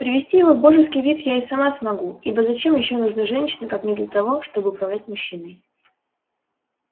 привести его в божеский вид я и сама смогу ибо зачем ещё нужны женщины как не для того чтобы управлять мужчиной